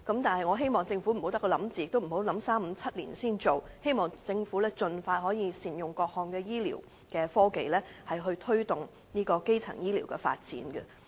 但是，我希望政府不要只是構思，也不要考慮數年後才敲定推行，希望政府可以盡快善用各項醫療科技，推動基層醫療的發展。